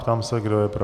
Ptám se, kdo je pro.